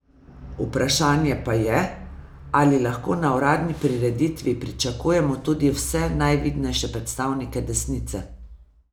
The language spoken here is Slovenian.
Vprašanje pa je, ali lahko na uradni prireditvi pričakujemo tudi vse najvidnejše predstavnike desnice.